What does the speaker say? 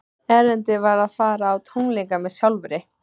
Erindið var að fara á tónleika með sjálfri